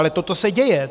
Ale toto se děje.